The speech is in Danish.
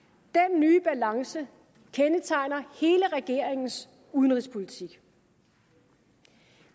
nye balance kendetegner hele regeringens udenrigspolitik